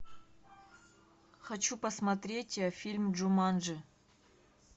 хочу посмотреть фильм джуманджи